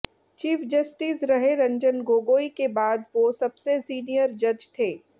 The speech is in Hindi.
चीफ जस्टिस रहे रंजन गोगोई के बाद वो सबसे सीनियर जज थे